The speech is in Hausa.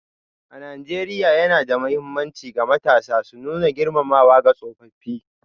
A Najeriya, yana da mahimmanci ga matasa su nuna girmamawa ga tsofaffi.